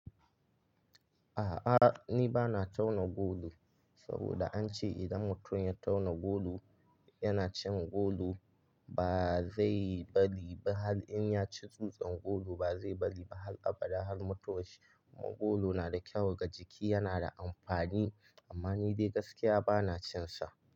A'a, ni ba na tauna golo saboda an ce idan mutum ya tauna golo yana cin golo ba zai bari ba har in ya ci dutsan golo ba zai bari ba har a bada har mutuwan shi. Kuma golo na da kyau ga jiki, yana da amfani amma ni dai gaskiya ba na cin sa.